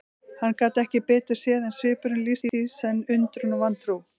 Hann gat ekki betur séð en svipurinn lýsti í senn undrun og vantrú.